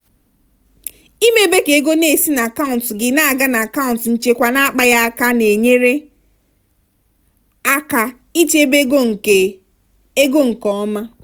ịmebe ka ego na-esi n'akaụntụ gị na-aga n'akaụntụ nchekwa na-akpaghị aka na-enyere aka ichebe ego nke ego nke ọma.